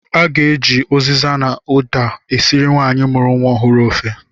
A ga-eji ụziza na ụda esiri nwaanyị mụrụ nwa ọhụrụ ofe.